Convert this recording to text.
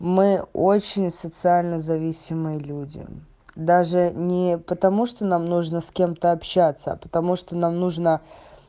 мы очень социально зависимые люди даже не потому что нам нужно с кем-то общаться а потому что нам нужно